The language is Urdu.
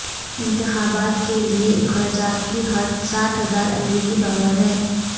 انتخابات کے لیے اخراجات کی حد ساٹھ ہزار امریکی ڈالر ہے